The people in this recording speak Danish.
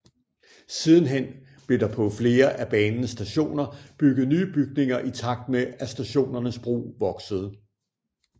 Sidenhen blev der på flere af banens stationer bygget nye bygninger i takt med at stationernes brug voksede